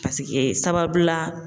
Paseke sababu la.